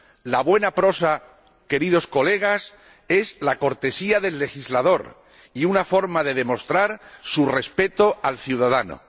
La buena prosa, queridos colegas, es la cortesía del legislador y una forma de demostrar su respeto al ciudadano.